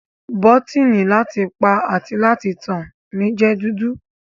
Bọ́tíni láti pa àti láti tàn mi jẹ́ dúdú.